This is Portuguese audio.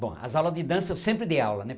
Bom, as aulas de dança eu sempre dei aula, né?